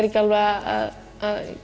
ekki alveg að